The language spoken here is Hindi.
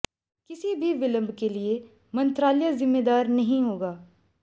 किसी भी विलंब के लिए मंत्रालय जिम्मेदार नहीं होगा